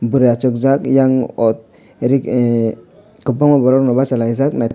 burui achukjak yang autorok eh kwbangma borok no bachalaijak.